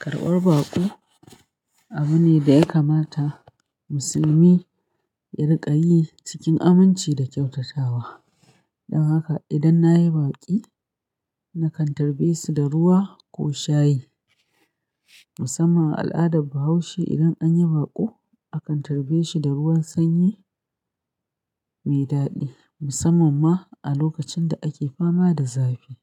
Karbar baƙo abu ne da ya kamata Musulmi ya riƙa yi cikin aminci da kyautatawa. Don haka idan na yi baƙi, na kan tarbe su da ruwa ko shayi. Musamman a al'adar Bahaushe idan an yi baƙo, a kan tarbe shi da ruwan sanyi mai daɗi musamman ma a lokacin da ake fama da zafi.